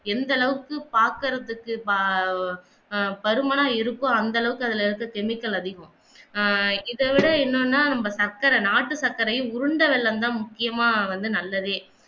எந்த அளவுக்கு பாக்குறதுக்கு ஆஹ் பருமனா இருக்கோ அந்த அளவுக்கு அதுல இருக்கிற Chemical அதிகம் ஆஹ் இதைவிட என்னன்னா நம்ம சர்க்கரை நாட்டு சக்கரையில் உருண்ட வெல்லம் தான் முக்கியமா வந்து நல்லதே